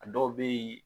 A dɔw bɛ yen